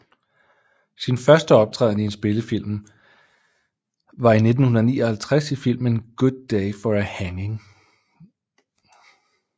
Sin første optræden i en spillefilm var i 1959 i filmen Good Day for a Hanging